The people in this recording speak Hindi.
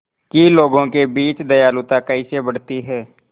कि लोगों के बीच दयालुता कैसे बढ़ती है